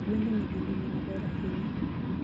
Gwendi nigi ngima maber ahinya